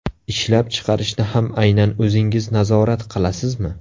Ishlab chiqarishni ham aynan o‘zingiz nazorat qilasizmi?